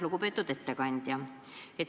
Lugupeetud ettekandja!